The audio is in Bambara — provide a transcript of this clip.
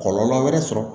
Kɔlɔlɔ wɛrɛ sɔrɔ